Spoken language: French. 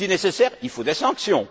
Si nécessaire, il faut des sanctions.